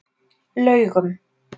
Laugum